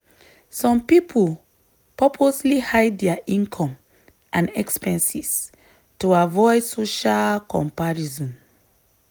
some people purposely hide dia income and expenses to avoid social comparison.